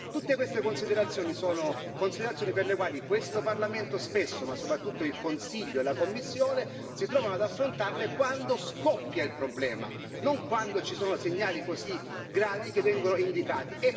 Tutte queste considerazioni sono considerazioni per le quali questo Parlamento spesso, ma soprattutto il Consiglio e la Commissione, si trovano ad affrontarle quando scoppia il problema, non quando ci sono segnali così gravi che vengono indicati.